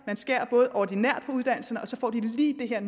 man skærer både ordinært på uddannelserne og så får de lige det her